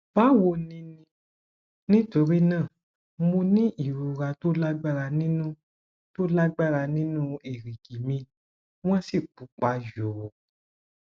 báwo ninítorí náà mo ní ìrora tó lágbára nínú tó lágbára nínú èrìgì mi wọn sì pupa yòò